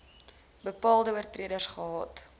bepaalde oortreders gehad